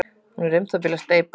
Hún er um það bil að steypast.